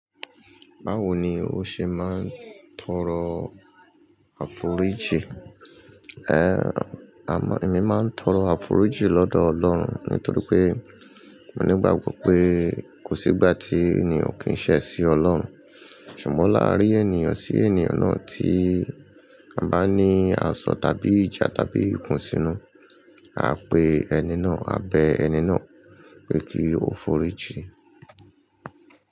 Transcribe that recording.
Báwo ni ó ṣe máa ń tọrọ àforíjì? A má, èmi máa ń tọrọ àforíjì lọ́dọ̀ Ọlọ́run nítorí pé mo nígbàgbọ́ pé kò sígbà tí ènìyàn ò kín ṣẹ́ sí Ọlọ́run. Ṣùgbọ́n láàárín ènìyàn sí ènìyàn náà tí a bá ní aṣọ tàbí ìjà tàbí ikùn sínú, a á pe ẹni náà, a bẹ ẹni náà pé kí o foríjì.